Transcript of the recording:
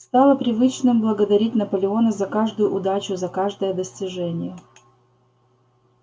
стало привычным благодарить наполеона за каждую удачу за каждое достижение